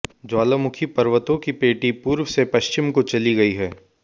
ज्वालामुखी पर्वतों की पेटी पूर्व से पश्चिम को चली गई है